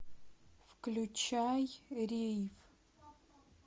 включай рейв